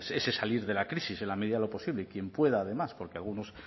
ese salir de la crisis en la medida de posible y quien pueda además porque algunos